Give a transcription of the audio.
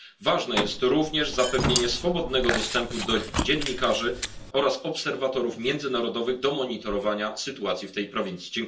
Ważne jest również zapewnienie swobodnego dostępu dziennikarzy oraz obserwatorów międzynarodowych do monitorowania sytuacji w tej prowincji.